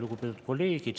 Lugupeetud kolleegid!